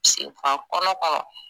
a knrɔ kɔrɔ